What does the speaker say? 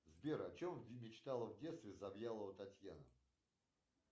сбер о чем мечтала в детстве завьялова татьяна